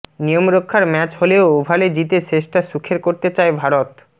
নিয়মরক্ষার match হলেও ওভালে জিতে শেষটা সুখের করতে চায় ভারত